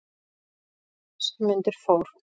Um þessar mundir fór